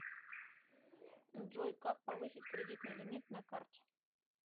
джой как повысить кредитный лимит на карте